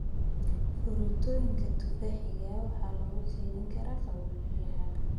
Fruktooyinka tufaaxiga waxaa lagu keydin karaa qaboojiyaha.